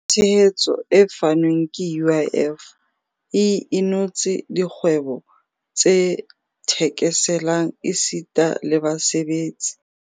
Tshehetso e fanweng ke UIF e inotse dikgwebo tse thekeselang esita le basebetsi.